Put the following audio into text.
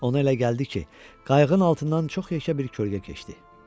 Ona elə gəldi ki, qayığın altından çox yekə bir kölgə keçdi.